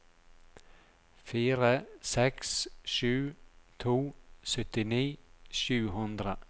fire seks sju to syttini sju hundre